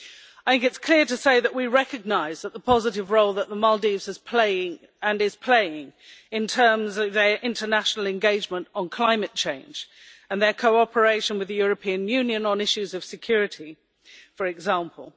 I think it is clear to say that we recognise the positive role that the Maldives is playing in terms of their international commitment on climate change and their cooperation with the European Union on issues of security, for example.